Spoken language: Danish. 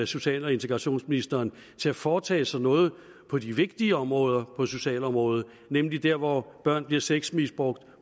social og integrationsministeren til at foretage sig noget på de vigtige områder på socialområdet nemlig der hvor børn bliver sexmisbrugt